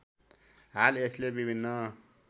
हाल यसले विभिन्न